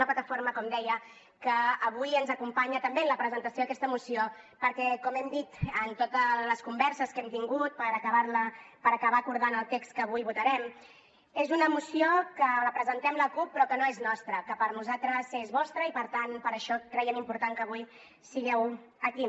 una plataforma com deia que avui ens acompanya també en la presentació d’aquesta moció perquè com hem dit en totes les converses que hem tingut per acabar acordant el text que avui votarem és una moció que la presentem la cup però que no és nostra que per nosaltres és vostra i per tant per això creiem important que avui sigueu aquí